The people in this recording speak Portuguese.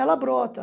Ela brota.